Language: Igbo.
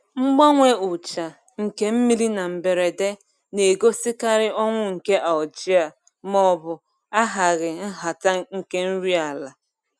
Mgbanwe ucha nke mmiri na mberede na-egosikarị ọnwụ nke algae maọbụ ahaghị nhata nke nri ala.